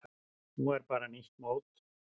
Núna er bara nýtt mót.